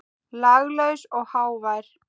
Laglaus og hávær.